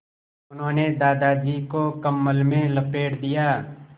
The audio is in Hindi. उन्होंने दादाजी को कम्बल में लपेट दिया